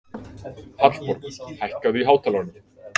Hallborg, hækkaðu í hátalaranum.